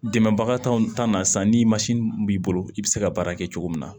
Dɛmɛbaga t'anw ta na sisan ni b'i bolo i be se ka baara kɛ cogo min na